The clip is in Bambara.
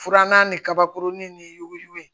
Furanna ni kabakurunin ni yuguyugu ye